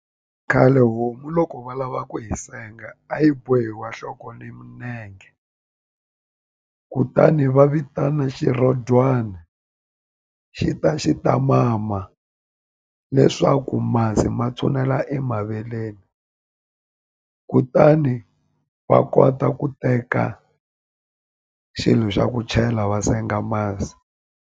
Khale homu loko va lava ku hi senga a yi bohi wa nhloko leyi ni kutani va vitana xirhodyana xi ta xi ta mama leswaku masi ma thonela emaveleni kutani va kota ku teka xilo xa ku chela va senga masi.